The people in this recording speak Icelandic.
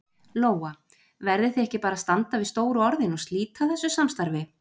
Lóa: Verðið þið ekki bara að standa við stóru orðin og slíta þessu samstarfi?